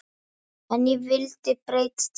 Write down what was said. En ég vildi breyta til.